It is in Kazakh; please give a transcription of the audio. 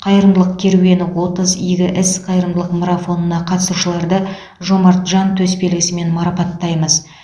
қайырымдылық керуені отыз игі іс қайырымдылық марафонына қатысушыларды жомарт жан төсбелгісімен марапаттаймыз